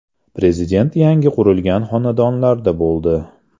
Prezident yangi qurilgan xonadonlarda bo‘ldi.